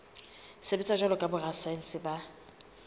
sebetsa jwalo ka borasaense ba